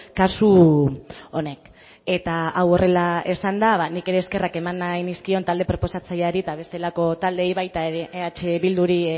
kasu honek eta hau horrela esanda nik ere eskerrak eman nahi nizkion talde proposatzaileari eta bestelako taldeei baita ere eh bilduri